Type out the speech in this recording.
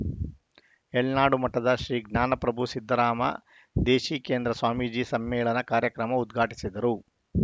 ಯಳನಡು ಮಠದ ಶ್ರೀ ಜ್ಞಾನಪ್ರಭು ಸಿದ್ದರಾಮ ದೇಶಿಕೇಂದ್ರ ಸ್ವಾಮೀಜಿ ಸಮ್ಮೇಳನ ಕಾರ್ಯಕ್ರಮ ಉದ್ಘಾಟಿಸಿದರು